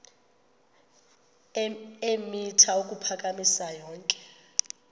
eemitha ukuphakama yonke